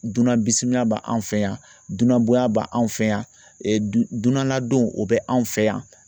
Dunan bisimila b'an fɛ yan, dunan boyan b'an fɛ yan, dunan ladonw o bɛ anw fɛ yan